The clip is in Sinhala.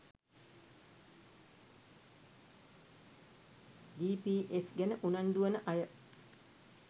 ජී.පී.එස් ගැන උනන්දු වන අය